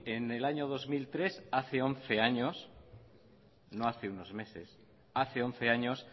en el año dos mil tres hace once años no hace unos meses hace once años